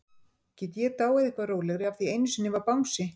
Get ég dáið eitthvað rólegri af því einu sinni var bangsi?